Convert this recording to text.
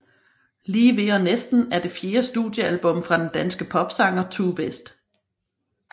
Lige ved og næsten er det fjerde studiealbum fra den danske popsanger Tue West